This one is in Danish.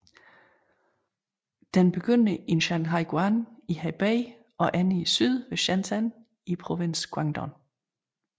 Den begynder i Shanhaiguan i Hebei og ender i syd ved Shenzhen i provinsen Guangdong